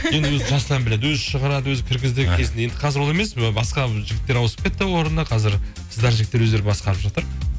енді өзі жасұлан біледі өзі шығарады өзі кіргізді кезінде енді қазір ол емес ы басқа жігіттер ауысып кетті орнына қазір қыздар жігіттер өздері басқарып жатыр